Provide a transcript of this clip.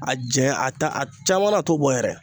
A janya, a ta a caman na a t'o bɔ yɛrɛ.